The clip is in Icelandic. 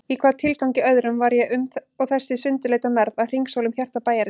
Í hvaða tilgangi öðrum var ég og þessi sundurleita mergð að hringsóla um hjarta bæjarins?